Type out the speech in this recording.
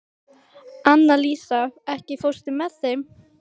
Annalísa, ekki fórstu með þeim?